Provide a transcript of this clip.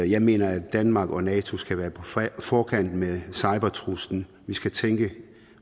jeg mener at danmark og nato skal være på forkant med cybertruslen vi skal tænke